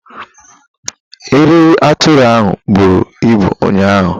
E rere atụrụ ahụ bụrụ ibụ ụnyaahụ.